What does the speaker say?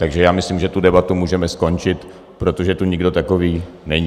Takže já myslím, že tu debatu můžeme skončit, protože tu nikdo takový není.